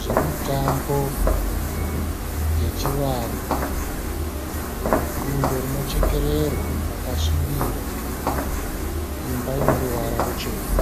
zvemutambo yechivanhu. Bundo rinochekererwa rakasvibira. Imba ine ruvara ruchena.